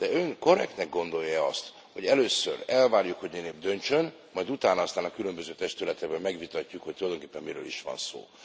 De Ön korrektnek gondolja e azt, hogy először elvárjuk, hogy Ön itt döntsön, majd utána aztán a különböző testületekben megvitatjuk, hogy tulajdonképpen miről is van szó.